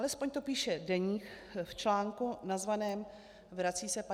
Alespoň to píše Deník v článku nazvaném "Vrací se 50. léta?